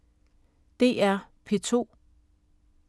DR P2